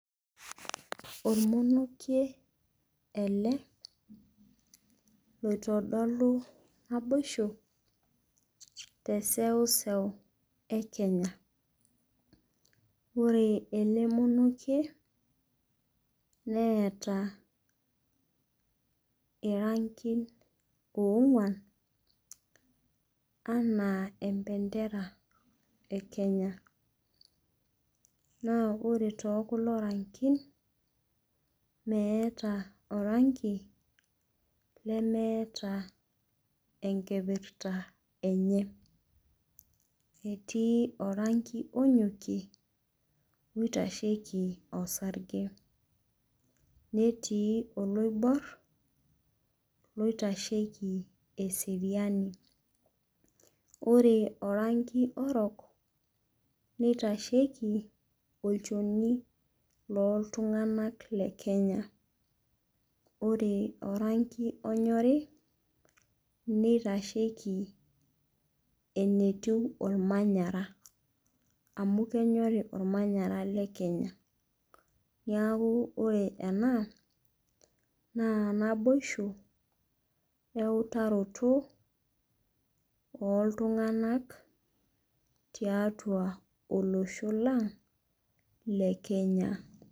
Olmonokie ele, loitodolu naboisho te eseuseu e Kenya. Ore ele monokie neata irangin oong'uan anaa empendera e Kenya,. Naa ore too kulo rangin, meata oranki lemeata enkipirta enye, etii oranki onyokie oitasheiki osarge, netii oloibor oitasheiki eseriiani, ore oranki orok, neitasheiki olchoni looltung'anak le Kenya, ore orangi onyori, neitasheiki enetiu olmanyara , amu kenyori olmanyara le Kenya. Naa ore ena naa naboisho we eutaroto ooltung'anak tiatua olosho lang' le Kenya.